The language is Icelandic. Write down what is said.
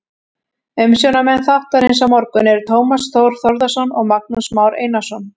Umsjónarmenn þáttarins á morgun eru Tómas Þór Þórðarson og Magnús Már Einarsson.